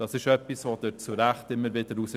Das streichen Sie zu Recht immer wieder heraus.